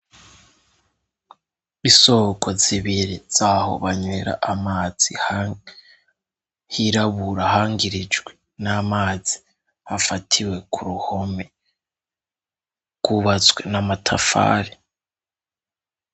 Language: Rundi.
Isoko zibiri zaho banwera amazi hirabura hangirijwe n'amazi afatiwe ku ruhome rw'ubatswe n'amatafari.